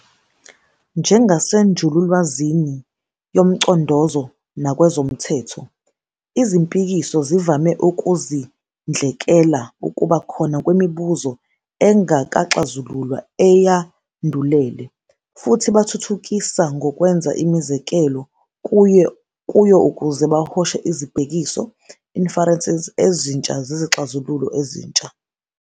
Njengasenjululwazini yomcondozo nakwezomthetho, izimpikiso zivame ukuzindlekela ukuba khona kwemibuzo engakaxazululwa eyandulele, futhi bathuthukisa ngokwenza imizekelo kuyo ukuze bahoshe izibhekiso "inferences" ezintsha zezixazululo ezintsha.